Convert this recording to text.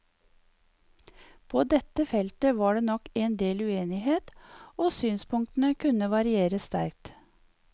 På dette feltet var det nok en del uenighet, og synspunktene kunne variere sterkt.